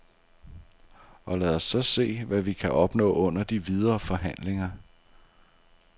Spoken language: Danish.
Og lad os så se, hvad vi kan opnå under de videre forhandlinger.